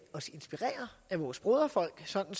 os inspirere af vores broderfolk sådan